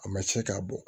A ma se k'a bɔ